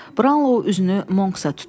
Brownlow üzünü Monks-a tutdu.